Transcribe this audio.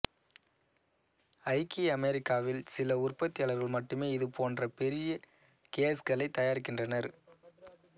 ஐக்கிய அமெரிக்காவில் சில உற்பத்தியாளர்கள் மட்டுமே இது போன்ற பெரிய கேஜ்களை தயாரிக்கின்றனர்